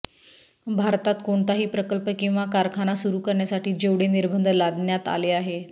भारतात कोणताही प्रकल्प किंवा कारखाना सुरू करण्यासाठी जेवढे निर्बंध लादण्यात आले आहेत